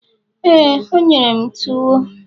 éè, o nyere m tuwo